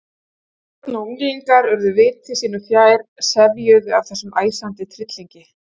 Börn og unglingar urðu viti sínu fjær, sefjuð af þessum æsandi tryllingi.